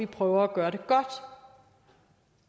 prøver at gøre det godt